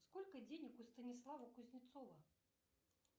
сколько денег у станислава кузнецова